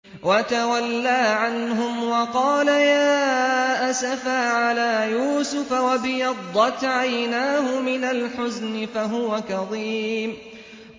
وَتَوَلَّىٰ عَنْهُمْ وَقَالَ يَا أَسَفَىٰ عَلَىٰ يُوسُفَ وَابْيَضَّتْ عَيْنَاهُ مِنَ الْحُزْنِ فَهُوَ كَظِيمٌ